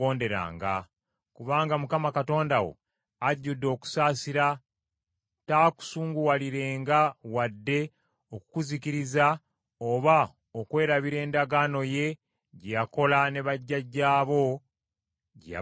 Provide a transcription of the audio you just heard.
Kubanga Mukama Katonda wo ajjudde okusaasira, taakusuulirirenga wadde okukuzikiriza, oba okwerabira endagaano ye gye yakola ne bajjajjaabo gye yabalayiririra.